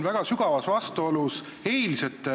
Trahv iseenesest on võib-olla just see, millele te viitasite.